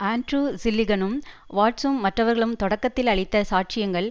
Andrew ஜில்லிகனும் வாட்சும் மற்றவர்களும் தொடக்கத்தில் அளித்த சாட்சியங்கள்